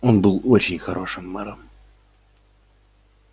он был очень хорошим мэром